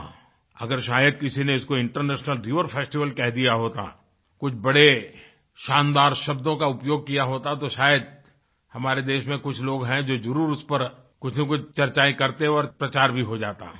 हाँअगर शायद किसी ने इसको इंटरनेशनल रिवर फेस्टिवल कह दिया होता कुछ बड़े शानदार शब्दों का उपयोग किया होता तो शायद हमारे देश में कुछ लोग है जो ज़रूर उस पर कुछ न कुछ चर्चाएँ करते और प्रचार भी हो जाता